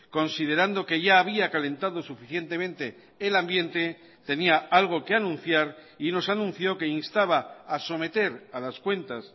considerando que ya había calentado suficientemente el ambiente tenía algo que anunciar y nos anunció que instaba a someter a las cuentas